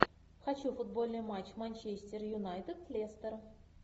хочу футбольный матч манчестер юнайтед лестер